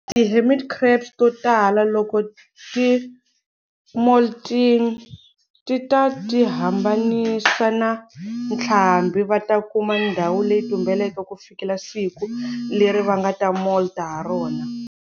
Ti hermit crabs totala, loko ti molting, tita tihambanisa na ntlhambi. Va ta kuma ndhawu leyi tumbeleke ku fikela siku leri va nga ta molt ha rona.